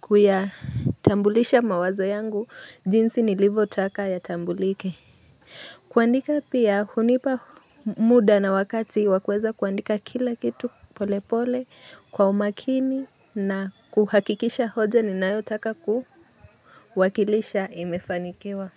kuyatambulisha mawazo yangu. Jinsi nilivyo taka yatambulike. Kuandika pia hunipa muda na wakati wa kuweza kuandika kila kitu pole pole kwa umakini na kuhakikisha hoja ninayotaka kuwakilisha imefanikiwa.